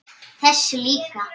Þessi líka